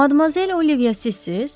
Madmazel Oliviya sizsiz?